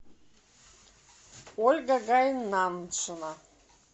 ольга гайнаншина